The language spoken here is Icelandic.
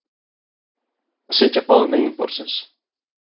Að sitja báðum megin borðsins